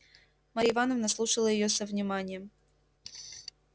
марья ивановна слушала её со вниманием